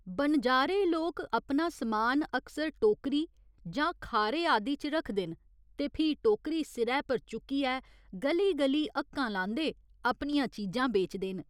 बनजारे लोक अपना समान अक्सर टोकरी जां खारे आदि च रखदे न ते फ्ही टोकरी सिरै पर चुक्कियै ग'ली ग'ली हक्कां लांदे अपनियां चीजां बेचदे न।